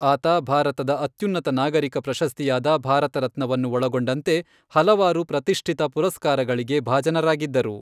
ಆತ ಭಾರತದ ಅತ್ಯುನ್ನತ ನಾಗರಿಕ ಪ್ರಶಸ್ತಿಯಾದ ಭಾರತ ರತ್ನವನ್ನು ಒಳಗೊಂಡಂತೆ ಹಲವಾರು ಪ್ರತಿಷ್ಠಿತ ಪುರಸ್ಕಾರಗಳಿಗೆ ಭಾಜನರಾಗಿದ್ದರು.